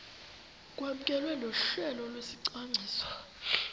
kwamkelwe nohlelo lwesicwangciso